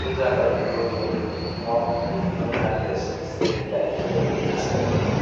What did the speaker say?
Jotta haka ma ɗo jooɗi on, ko kuma ummi on haa les striit lait fere ha sera lawol.